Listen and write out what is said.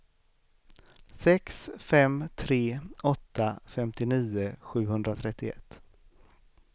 sex fem tre åtta femtionio sjuhundratrettioett